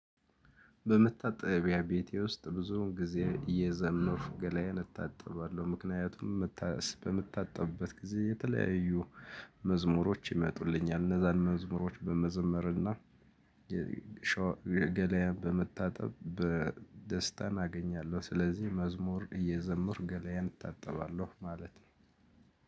በመታጠቢያ ቤቴ ውስጥ ብዙውን ጊዜ እየዘመንኩ ገላዬን እታጠባለሁ ምክንያቱም በምታጠብበት ጊዜ የተለያዩ መዝሙሮች ይመጡልኛል እነዛን መዝሙሮች በመዘመርና የገላየን በመታጠብ በ ደስታን አገኛለሁ ስለዚህ መዝሙር እየዘምርኩ ገለየን እታጠባለሁ ማለት ነው